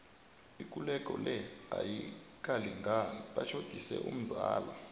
ikulego le ayikalingani batjhodise umzala